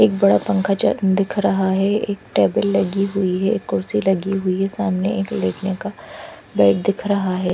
एक बड़ा पंखा च दिख रहा है एक टेबल लगी हुई है एक कुर्सी लगी हुई है सामने एक का बेड दिख रहा है।